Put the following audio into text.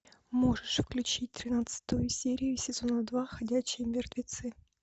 можешь включить тринадцатую серию сезона два ходячие мертвецы